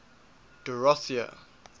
dorothea